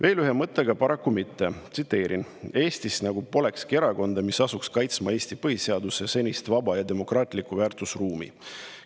Järgmise mõttega paraku mitte: "Eestis nagu polekski erakonda, mis asuks kaitsma Eesti põhiseaduse senist vaba ja demokraatlikku väärtusruumi.